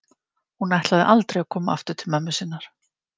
Hún ætlaði aldrei að koma aftur til mömmu sinnar.